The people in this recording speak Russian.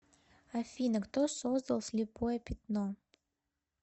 афина кто создал слепое пятно